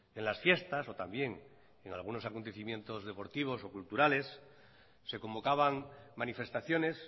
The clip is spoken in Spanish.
en las fiestas o también en algunos acontecimientos deportivos o culturales se convocaban manifestaciones